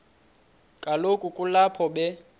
kaloku kulapho be